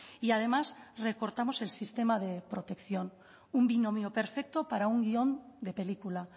y además recortamos el sistema de protección un binomio perfecto para un guion de película